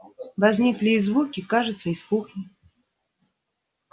возникли и звуки кажется из кухни